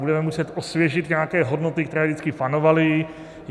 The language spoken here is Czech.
Budeme muset osvěžit nějaké hodnoty, které vždycky panovaly.